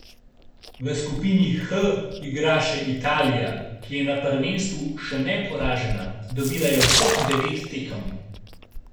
V skupini H igra še Italija, ki je na prvenstvu še neporažena, dobila je vseh devet tekem.